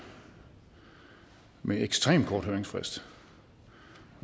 med ekstremt kort høringsfrist